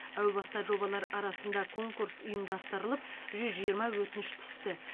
әу баста жобалар арасында конкурс ұйымдастырылып жүз жиырма өтініш түсті